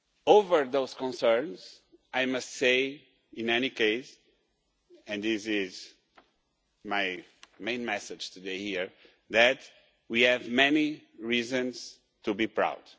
Over those concerns, I must say in any case and this is my main message here today that we have many reasons to be proud.